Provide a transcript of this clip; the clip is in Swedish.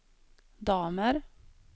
damer